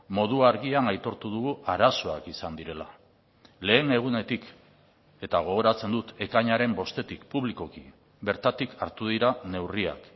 modu argian aitortu dugu arazoak izan direla lehen egunetik eta gogoratzen dut ekainaren bostetik publikoki bertatik hartu dira neurriak